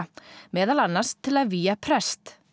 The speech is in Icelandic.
meðal annars til að vígja prest